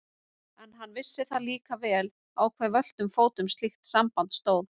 En hann vissi það líka vel á hve völtum fótum slíkt samband stóð.